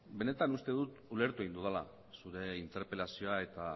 benetan uste dut ulertu egin dudala zure interpelazioa eta